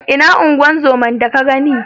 Ina unguwar zomar da ka gani?